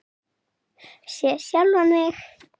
Sé sjálfan mig.